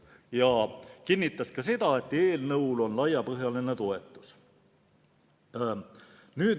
Ta kinnitas ka seda, et eelnõul on laiapõhjaline toetus.